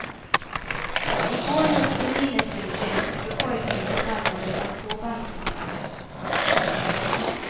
I går hölls det minnesgudstjänst för pojken som mördades av två bankrånare.